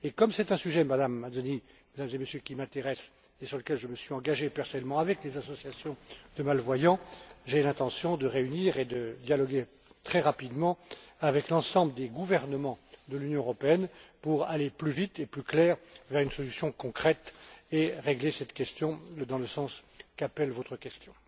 Comme c'est un sujet, Madame Mazzoni, Mesdames et Messieurs, qui m'intéresse et sur lequel je me suis engagé personnellement, avec les associations de malvoyants, j'ai l'intention de prendre contact et de dialoguer très rapidement avec l'ensemble des gouvernements de l'Union européenne pour aller plus vite et plus précisément vers une solution concrète et régler ce problème dans le sens qu'appelle votre question.